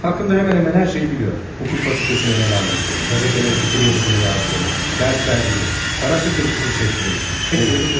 Hakkında hemen hemen hər şeyi biliyor: Hukuk Fakültesinə devam ettiğini, qəzetlərə fikir yazıları yazdığını, dərs verdiyini, para sıxıntısı çəkdiyini, hepsini biliyor.